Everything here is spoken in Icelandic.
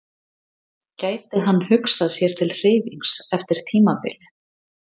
Gæti hann hugsað sér til hreyfings eftir tímabilið?